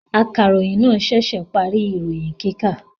Akaròyìn náà ṣẹ̀ṣẹ̀ parí ìròyìn kíkà.